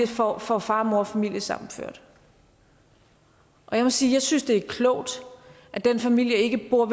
får far far og mor familiesammenført jeg må sige at jeg synes det er klogt at den familie ikke bor